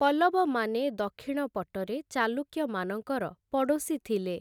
ପଲ୍ଲବମାନେ ଦକ୍ଷିଣ ପଟରେ ଚାଲୁକ୍ୟମାନଙ୍କର ପଡ଼ୋଶୀ ଥିଲେ ।